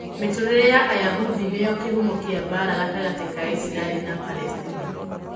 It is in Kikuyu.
Mĩtũũrĩre ya Ayahudi nĩyo kĩhumo kĩa mbaara gatagatĩ ka Isiraeli na Palestina